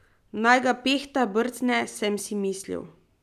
Naj ga Pehta brcne, sem si mislil.